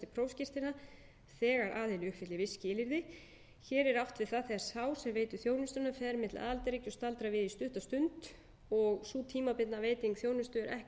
prófskírteina þegar aðili uppfyllir viss skilyrði hér er átt við það þegar sá sem veitir þjónustuna fer milli aðildarríkja og staldrar við í stutta stund og sú tímabundna veiting þjónustu er ekki